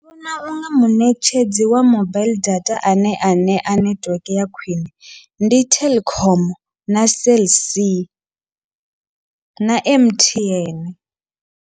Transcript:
Ndi vhona unga muṋetshedzi wa mobile data ane a ṋea nethiweke ya khwiṋe, ndi Telkom na Cell C na M_T_N.